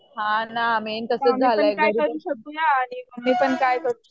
हां ना मेन तसंच झालंय.